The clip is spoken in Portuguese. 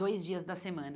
Dois dias da semana.